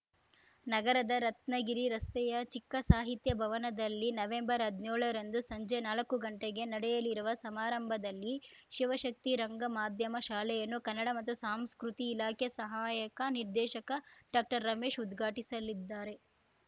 ನಗರದ ರತ್ನಗಿರಿ ರಸ್ತೆಯ ಚಿಕ್ಕ ಸಾಹಿತ್ಯ ಭವನದಲ್ಲಿ ನವೆಂಬರ್ಹದ್ನ್ಯೋಳರಂದು ಸಂಜೆ ನಾಲ್ಕ ಗಂಟೆಗೆ ನಡೆಯಲಿರುವ ಸಮಾರಂಭದಲ್ಲಿ ಶಿವಶಕ್ತಿ ರಂಗ ಮಾಧ್ಯಮ ಶಾಲೆಯನ್ನು ಕನ್ನಡ ಮತ್ತು ಸಾಂಸ್ಕೃತಿ ಇಲಾಖೆ ಸಹಾಯಕ ನಿರ್ದೇಶಕ ಡಾಕ್ಟರ್ರಮೇಶ್‌ ಉದ್ಘಾಟಿಸಲಿದ್ದಾರೆ